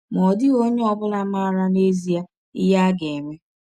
Ma ọ dịghị onye ọ bụla maara n’ezie ihe a ga - eme.